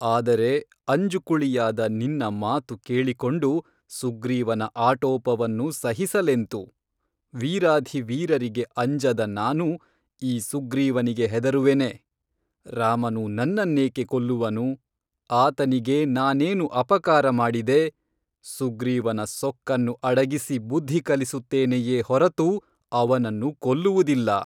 ಆದರೆ ಅಂಜು ಕುಳಿಯಾದ ನಿನ್ನ ಮಾತು ಕೇಳಿಕೊಂಡು ಸುಗ್ರೀವನ ಆಟೋಪವನ್ನು ಸಹಿಸಲೆಂತು ವೀರಾಧಿವೀರರಿಗೆ ಅಂಜದ ನಾನು ಈ ಸುಗ್ರೀವನಿಗೆ ಹೆದರುವೆನೇ ರಾಮನು ನನ್ನನ್ನೇಕೇ ಕೊಲ್ಲುವನು ಆತನಿಗೆ ನಾನೇನು ಅಪಕಾರ ಮಾಡಿದೆ ಸುಗ್ರೀವನ ಸೊಕ್ಕನ್ನು ಅಡಗಿಸಿ ಬುದ್ಧಿಕಲಿಸುತ್ತೇನೆಯೇ ಹೊರತು ಅವನನ್ನು ಕೊಲ್ಲುವುದಿಲ್ಲ